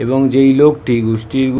এবং যেই লোক টি ।